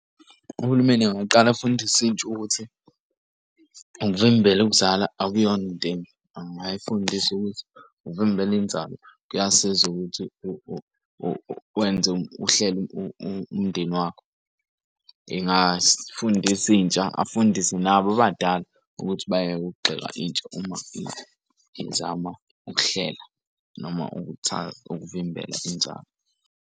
Uhulumeni angaqala afundise intsha ukuthi, ukuvimbela ukuzala akuyona into embi angafundisa ukuthi ukuvimbela inzalo kuyasiza ukuthi wenze uhlele umndeni wakho. Ingafundisa intsha afundise nabo abadala ukuthi bayeke ukugxeka intsha uma izama ukuhlela noma ukuvimbela inzalo.